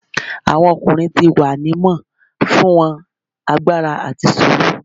Awọn ọkunrin ti wa ni mo fun won agbara ati suru